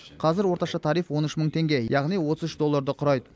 қазір орташа тариф он үш мың теңге яғни отыз үш долларды құрайды